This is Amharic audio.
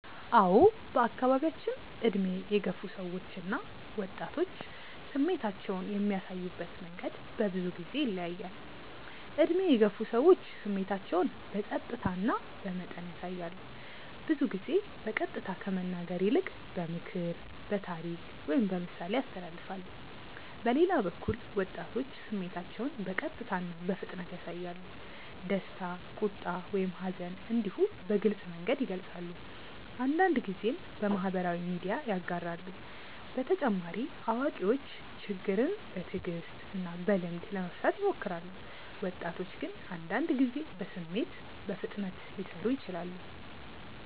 አዎ በአካባቢያችን ዕድሜ የገፉ ሰዎች እና ወጣቶች ስሜታቸውን የሚያሳዩበት መንገድ በብዙ ጊዜ ይለያያል። ዕድሜ የገፉ ሰዎች ስሜታቸውን በጸጥታ እና በመጠን ያሳያሉ። ብዙ ጊዜ በቀጥታ ከመናገር ይልቅ በምክር፣ በታሪክ ወይም በምሳሌ ያስተላልፋሉ። በሌላ በኩል ወጣቶች ስሜታቸውን በቀጥታ እና በፍጥነት ያሳያሉ። ደስታ፣ ቁጣ ወይም ሐዘን እንዲሁ በግልጽ መንገድ ይገልጻሉ፤ አንዳንድ ጊዜም በማህበራዊ ሚዲያ ያጋራሉ። በተጨማሪ አዋቂዎች ችግርን በትዕግስት እና በልምድ ለመፍታት ይሞክራሉ፣ ወጣቶች ግን አንዳንድ ጊዜ በስሜት በፍጥነት ሊሰሩ ይችላሉ።